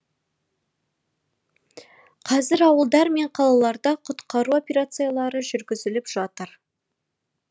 қазір ауылдар мен қалаларда құтқару операциялары жүргізіліп жатыр